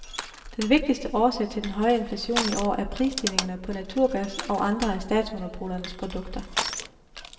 Den vigtigste årsag til den høje inflation i år er prisstigningerne på naturgas og andre af statsmonopolernes produkter.